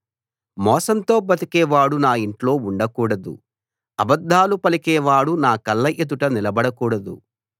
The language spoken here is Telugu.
మోసంతో బతికేవాడు నా ఇంట్లో ఉండకూడదు అబద్ధాలు పలికేవాడు నా కళ్ళ ఎదుట నిలబడకూడదు